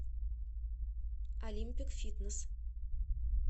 олимпик фитнес